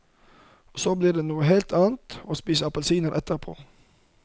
Og så blir det noe helt annet å spise appelsiner etterpå.